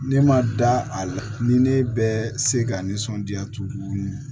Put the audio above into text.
Ne ma da a la ni ne bɛ se ka nisɔndiya tuuni